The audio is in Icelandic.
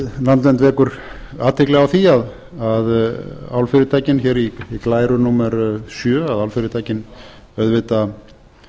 landvernd vekur athygli á því að álfyrirtækin hér í glæru númer sjö auðvitað